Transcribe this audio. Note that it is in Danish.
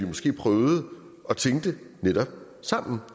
måske prøve at tænke det netop sammen